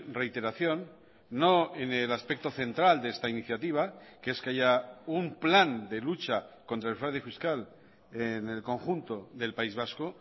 reiteración no en el aspecto central de esta iniciativa que es que haya un plan de lucha contra el fraude fiscal en el conjunto del país vasco